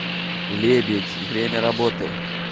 лебедь время работы